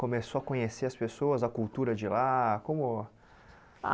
Começou a conhecer as pessoas, a cultura de lá? Como ah